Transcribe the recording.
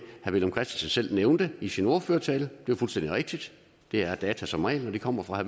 villum christensen selv nævnte i sin ordførertale det er fuldstændig rigtigt det er data som regel når de kommer fra